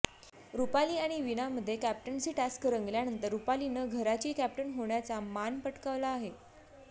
रुपाली आणि वीणामध्ये captaincy task रंगल्यानंतर रुपालीनं घराची कॅप्टन होण्याचा मान पटकावला आहे